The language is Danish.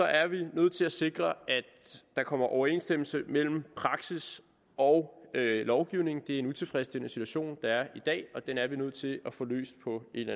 er vi nødt til at sikre at der kommer overensstemmelse mellem praksis og lovgivning det er en utilfredsstillende situation der er i dag og den er vi nødt til at få løst på en